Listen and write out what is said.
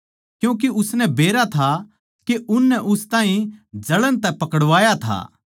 क्यूँके उसनै बेरा था के उननै उस ताहीं जळण तै पकड़वाया था